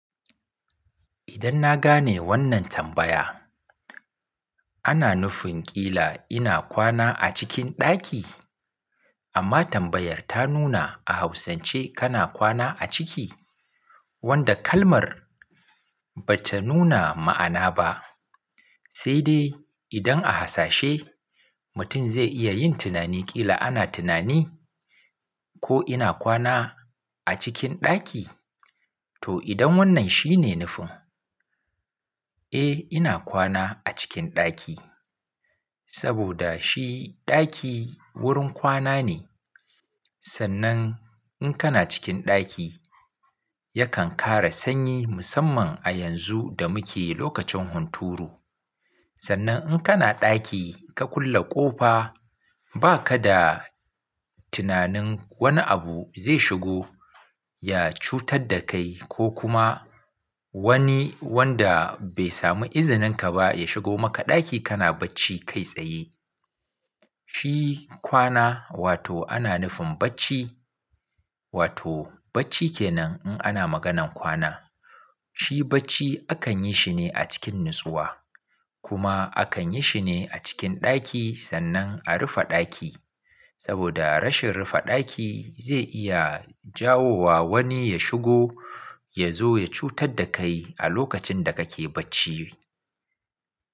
Idan na gane wannan tambaya, ana nufin ƙila ina kwana a cikin ɗaki? Amma tambayar ta nuna a hausance kana kwana a ciki, wanda kalmar bata nuna ma'ana ba. Sai dai idan a hasashe, mutum zai iya yin tunani ƙila ana tunani ko ina kwana a cikin ɗaki. To idan wannan shine nufin, eh ina kwana a cikin ɗaki. Saboda shi ɗaki wurin kwana ne. Sannan in kana cikin ɗaki yakan kare sanyi musamman a yanzu da muke lokacin hunturu. Sannan in kana ɗaki ka kulle ƙofa ba ka da tunanin wani abu zai shigo ya cutar da kai ko kuma wani wanda bai samu izinin ka ba ya shigo maka ɗaki kana bacci kai tsaye. Shi kwana wato ana nufin bacci, wato bacci ke nan in ana maganan kwana. Shi bacci akan yi shi ne a cikin nutsuwa. Kuma akan yi shi ne a cikin ɗaki sannan a rufe ɗaki. Saboda rashin rufe ɗaki zai iya jawo wa wani ya shigo ya zo ya cutar da kai a lokacin da kake bacci.